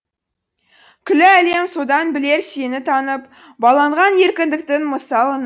күллі әлем содан білер сені танып баланған еркіндіктің мысалын